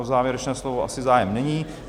O závěrečné slovo asi zájem není.